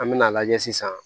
An me n'a lajɛ sisan